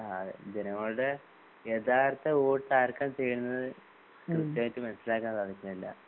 ആ ജനങ്ങളുടെ യഥാർത്ഥ വോട്ടാർക്കാ ചെയ്യുന്നത് കൃതയായിട്ട് മനസിലാക്കാൻ സാധിക്കുന്നില്ല